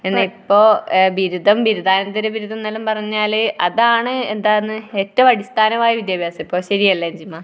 ഇപ്പം ബിരുദം ബിരുദാനന്തര ബിരുദം എന്നെല്ലാം പറഞ്ഞാല് അതാണ് എന്താണ് ഏറ്റവും അടിസ്ഥാനമായ വിദ്യാഭ്യാസം. ശരിയല്ലേ അഞ്ജിമാ?